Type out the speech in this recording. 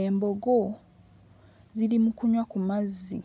Embogo ziri mu kunywa ku mazzi